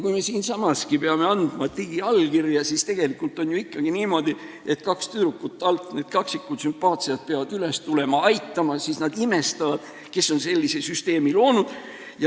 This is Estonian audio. Kui me siinsamaski peame andma digiallkirja, siis tegelikult on ju ikkagi niimoodi, et kaks tüdrukut, need sümpaatsed kaksikud, peavad alt üles tulema, aitama ja siis nad imestavad, kes on sellise süsteemi loonud.